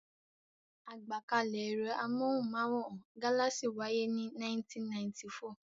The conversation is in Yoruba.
Àgbákalẹ̀ ẹ̀rọ amóhùmáwòhán Galaxy wáyé ní 1994.